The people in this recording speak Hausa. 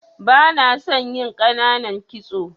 Bana son yin ƙananan kitso.